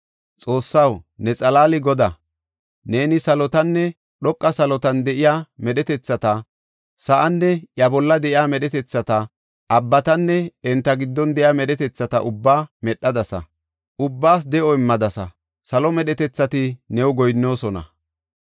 Xoossaw, ne xalaali Godaa! Neeni salotanne dhoqa salotan de7iya medhetethata, sa7aanne iya bolla de7iya medhetethata, abbatanne enta giddon de7iya medhetethata ubbaa medhadasa. Ubbaas de7o immadasa; salo medhetethati new goyinnoosona.